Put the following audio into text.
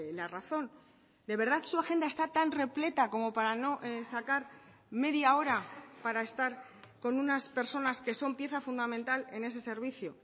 la razón de verdad su agenda está tan repleta como para no sacar media hora para estar con unas personas que son pieza fundamental en ese servicio